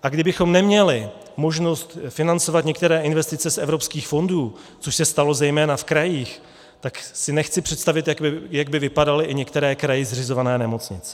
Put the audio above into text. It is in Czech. A kdybychom neměli možnost financovat některé investice z evropských fondů, což se stalo zejména v krajích, tak si nechci představit, jak by vypadaly i některé kraji zřizované nemocnice.